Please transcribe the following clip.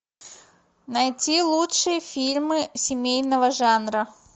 найти лучшие фильмы семейного жанра